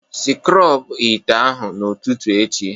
Sikrob ite ahụ n'ụtụtụ echi